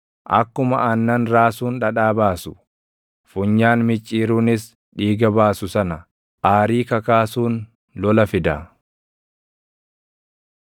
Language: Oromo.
Akkuma aannan raasuun dhadhaa baasu, funyaan micciiruunis dhiiga baasu sana, aarii kakaasuun lola fida.”